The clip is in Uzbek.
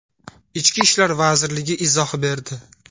Ichki ishlar vazirligi izoh berdi.